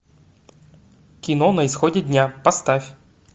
кино на исходе дня поставь